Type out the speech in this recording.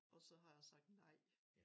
Og så har jeg sagt nej